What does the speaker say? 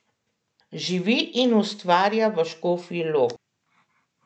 Živi in ustvarja v Škofji Loki.